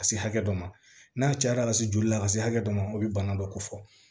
Ka se hakɛ dɔ ma n'a cayara ka se joli la ka se hakɛ dɔ ma o bɛ bana dɔ ko fɔ